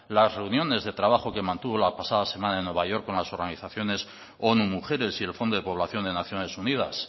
las reuniones de trabajo que mantuvo la pasada semana en new york con las organizaciones onu mujeres y el fondo de población de naciones unidas